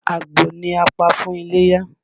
Àgbò ni a pa fún iléyá.